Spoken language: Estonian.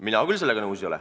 Mina küll sellega nõus ei ole.